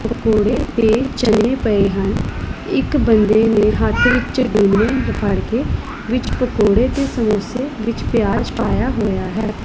ਪਕੋੜੇ ਤੇ ਚਣੇ ਪਏ ਹਨ ਇੱਕ ਬੰਦੇ ਨੇ ਹੱਥ ਵਿੱਚ ਡੂਨੇ ਫੜ ਕੇ ਵਿੱਚ ਪਕੌੜੇ ਤੇ ਸਮੋਸੇ ਵਿੱਚ ਪਿਆਜ ਪਾਇਆ ਹੋਇਆ ਹੈ।